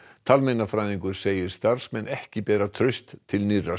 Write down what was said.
talmeinafræðingur segir starfsmenn ekki bera traust til nýrra